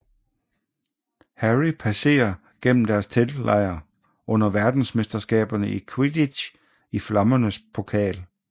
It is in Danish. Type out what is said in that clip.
Harry passerer gennem deres teltlejr under Verdensmesterskaberne i quidditch i Flammernes Pokal